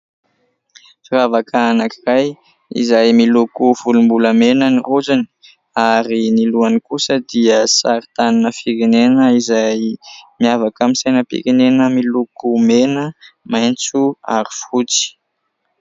Firavaka anaky iray izay miloko volom-bolamena ny rojony ary ny lohany kosa dia sary tanina firenena izay miavaka amin'ny sainam-pirenena miloko mena, maintso ary fotsy.